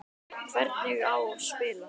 Hvernig á spila?